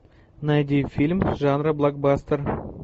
найди фильм жанра блокбастер